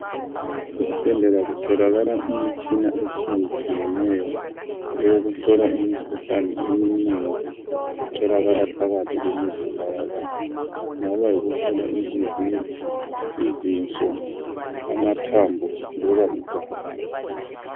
Ezibhedlela kutholakala imitshina etshiyetshiyeneyo. Eyokuhlola imikhuhlane eminengi, etholakala phakathi kwemizimba yabantu. Kungaba yikuhlola inhliziyo, izinso, amathambo, loba igazi.